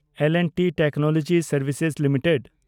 L and T technology services limited